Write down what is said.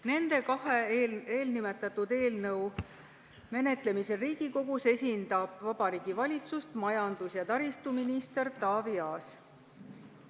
Nende kahe eelnõu menetlemisel Riigikogus esindab Vabariigi Valitsust majandus- ja taristuminister Taavi Aas.